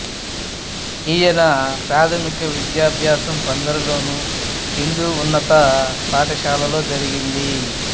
ఈయన ప్రాథమిక విద్యాభ్యాసం బందరులోని హిందూ ఉన్నత పాఠశాలలో జరిగింది